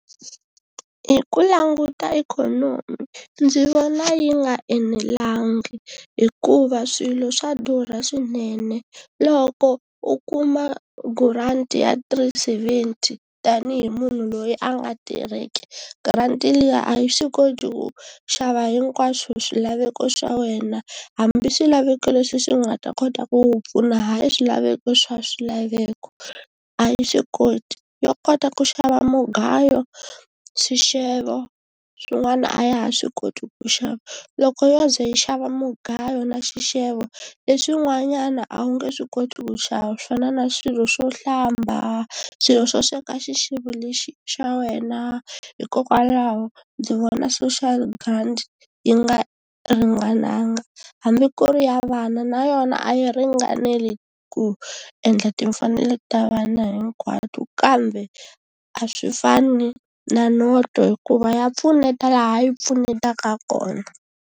Hi ku languta ikhonomi ndzi vona yi nga enelangi hikuva swilo swa durha swinene, loko u kuma grant ya three seventy tani hi munhu loyi a nga tirheki grant liya a yi swi koti ku xava hinkwaswo swilaveko swa wena hambi swilaveko leswi swi nga ta kota ku pfuna hayi swilaveko swa swilaveko a yi swikoti, yo kota ku xava mugayo swixevo swin'wana a ya ha swi koti ku xava loko yo ze yi xava mugayo na xixevo leswi n'wanyana a wu nge swi koti ku xava swi fana na swilo swo hlamba, swilo swo sweka xixevo lexi xa wena. Hikokwalaho ndzi vona social grant yi nga ringananga hambi ku ri ya vana na yona a yi ringaneli ku endla timfanelo ta vana hinkwato kambe a swi fani na noto hikuva ya pfuneta laha yi pfunetaka kona.